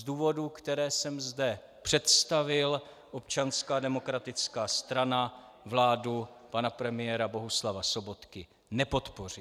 Z důvodů, které jsem zde představil, Občanská demokratická strana vládu pana premiéra Bohuslava Sobotky nepodpoří.